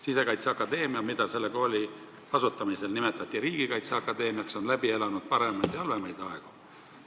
Sisekaitseakadeemia, mida selle kooli asutamise ajal nimetati riigikaitse akadeemiaks, on läbi elanud paremaid ja halvemaid aegu.